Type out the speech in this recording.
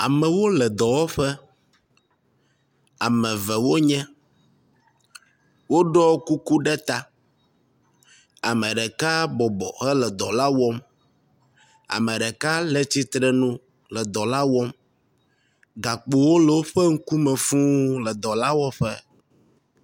Amewo le dɔwɔƒe. Ame eve wonye. Woɖɔ kuku ta. Ame ɖeka bɔbɔ hele dɔ la wɔm. Ame ɖeka le tsitre nu le dɔ la wɔm. Gakpowo le woƒe ŋkume fũuuu le dɔlaƒe.